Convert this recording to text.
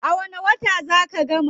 A wani wata zaa ka gama?